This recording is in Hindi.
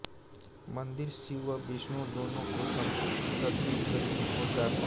मंदिर शिव व विष्णु दोनों को समर्पित प्रतीत होता है